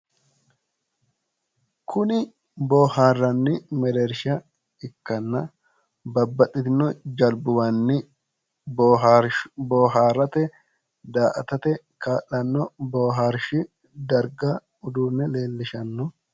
Kuni boohaarranni mereersha ikkanna babbaxitino jalbuwanni booharaate, daa"atate kaa'lanno boohaarshi darga uduunne leellishanno.